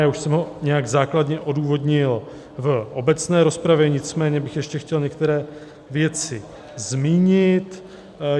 Já už jsem ho nějak základně odůvodnil v obecné rozpravě, nicméně bych ještě chtěl některé věci zmínit.